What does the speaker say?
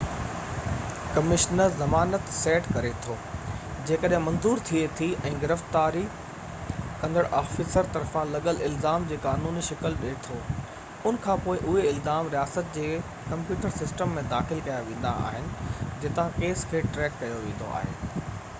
commissioner زمانت set ڪري ٿو جيڪڏهن منظور ٿئي ٿي ۽ گرفتار ڪندڙ آفيسر طرفان لڳل الزام جي قانوني شڪل ڏي ٿو ان کانپوءِ اهي الزام رياست جي ڪمپيوٽر سسٽم ۾ داخل ڪيا ويندا آهن جتان ڪيس کي ٽريڪ ڪيو ويندو آهي